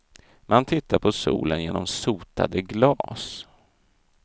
Man tittade på solen genom sotade glas.